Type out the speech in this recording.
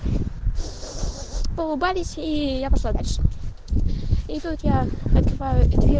улыбались ии я пошла дальше и тут я открываю дверь